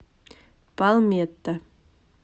палметта